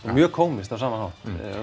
mjög kómískt á sama